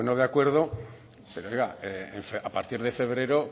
de acuerdo pero oiga a partir de febrero